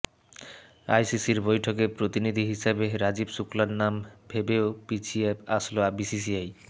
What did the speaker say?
আইসিসির বৈঠকে প্রতিনিধি হিসেবে রাজীব শুক্লার নাম ভেবেও পিছিয়ে আসল বিসিসিআই